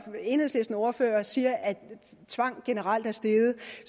enhedslistens ordfører siger at tvang generelt er steget